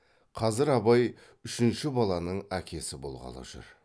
қазір абай үшінші баланың әкесі болғалы жүр